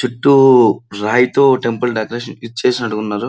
చుట్టూ రాయితో temple decoration ఇది చేసినట్టు ఉన్నారు.